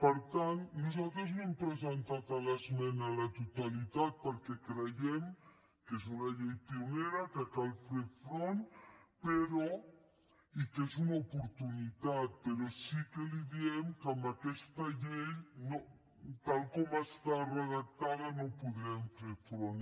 per tant nosaltres no hem presentat l’esmena a la totalitat perquè creiem que és una llei pionera que cal ferhi front i que és una oportunitat però sí que li diem que amb aquesta llei tal com està redactada no hi podrem fer front